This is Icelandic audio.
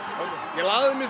ég lagði mig